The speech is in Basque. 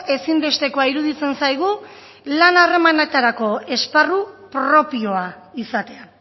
ezinbestekoa iruditzen zaigu lan harremanetarako esparru propioa izatea